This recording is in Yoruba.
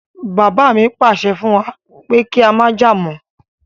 Bàbá mi pàṣẹ fún wa pé kí á jà mọ́